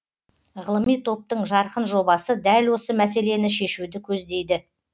ғылыми топтың жарқын жобасы дәл осы мәселені шешуді көздейді